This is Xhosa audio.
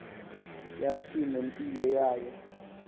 yathi nempilo yayo